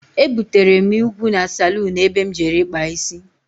Ebutere m ìgwu na salún ebe m jere ikpa isi.